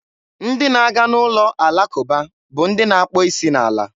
Ndị na-aga n'ụlọ alakụba bụ ndị na-akpọ isi n'ala.